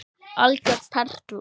Algjör perla.